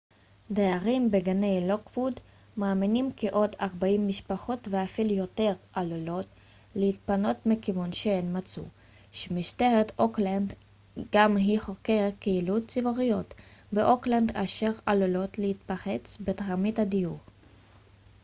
דיירים בגני לוקווד מאמינים כי עוד 40 משפחות ואפילו יותר עלולות להתפנות מכיוון שהן מצאו שמשטרת אוקלנד גם היא חוקרת קהילות ציבוריות באוקלנד אשר עלולת להיתפס בתרמית הדיור